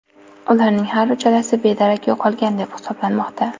Ularning har uchalasi bedarak yo‘qolgan deb hisoblanmoqda.